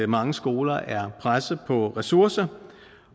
mange skoler er pressede på ressourcer